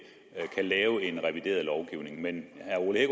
kan lave en revideret lovgivning men